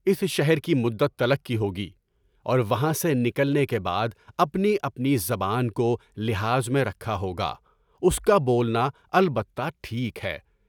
اس شہر کی مدت تلک کی ہوگی، اور وہاں سے نکلنے کے بعد اپنی اپنی زبان کو لحاظ میں رکھا ہوگا، اس کا بولنا البتہ ٹھیک ہے۔